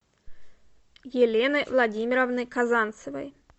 елены владимировны казанцевой